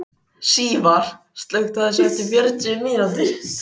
Sívar, slökktu á þessu eftir fjörutíu mínútur.